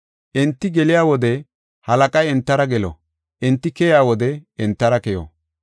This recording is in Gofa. Enti geliya wode, halaqay entara gelo; enti keyiya wode entara keyo.